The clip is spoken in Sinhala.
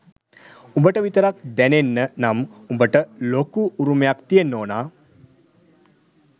උඹට විතරක් දැනෙන්න නම් උඹට ලොකු උරුමයක් තියෙන්න ඕන